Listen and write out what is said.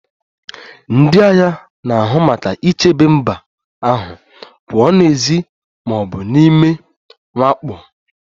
Ndị agha na-ahụ maka ichebe mba ahụ pụọ n'èzí ma ọ bụ n'ime mwakpo